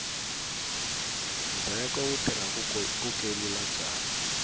ndzheko wu tirha ku kelula byalwa